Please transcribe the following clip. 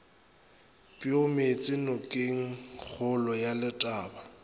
peo meetše nokengkgolo ya letaba